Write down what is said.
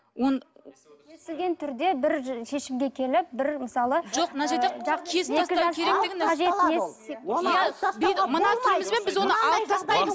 түрде бір шешімге келіп бір мысалы жоқ мына түрімізбен біз оны алып тастаймыз